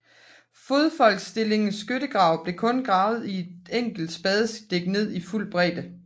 Fodfolksstillingens skyttegrave blev kun gravet et enkelt spadestik ned i fuld bredde